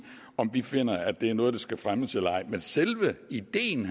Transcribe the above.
om vi finder det er noget der skal fremmes eller ej men selve ideen